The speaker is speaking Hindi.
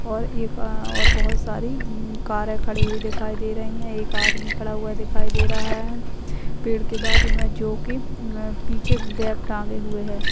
और एका और बहुत सारी म म केरा खड़ी खड़ी हुई दिखाई दे रही है एक आदमी खड़ा हुआ दिखाई दे रहा है पेड़ के बाजू मे जो कि म पीछे बैग टांगे हुए है।